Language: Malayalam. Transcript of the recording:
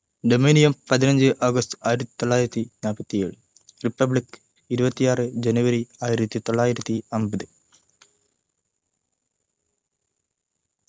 dominion പതിനഞ്ചു ഓഗസ്റ്റ് ആയിരത്തി തൊള്ളായിരത്തി നാൽപത്തി ഏഴ് republic ഇരുവത്തി ആറ് ജനുവരി ആയിരത്തി തൊള്ളായിരത്തി അമ്പത്